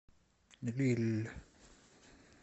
лилль